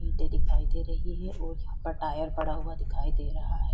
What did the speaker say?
ईंटे दिखाई दे रही है और यहाँ पर टायर पड़ा हुआ दिखाई दे रहा है।